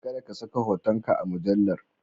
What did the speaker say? Kada ka saka hotonka a mujallar.